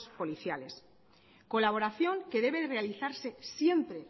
policiales colaboración que debe realizarse siempre